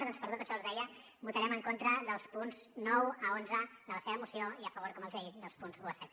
doncs per tot això els deia votarem en contra dels punts nou a onze de la seva moció i a favor com els he dit dels punts un a set